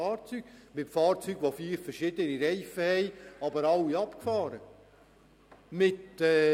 Fahrzeuge, die vier verschiedene Reifen haben, welche alle abgefahren sind.